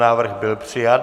Návrh byl přijat.